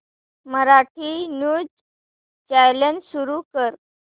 Marathi news channel सुरू कर